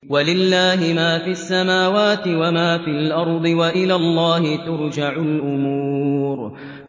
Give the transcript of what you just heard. وَلِلَّهِ مَا فِي السَّمَاوَاتِ وَمَا فِي الْأَرْضِ ۚ وَإِلَى اللَّهِ تُرْجَعُ الْأُمُورُ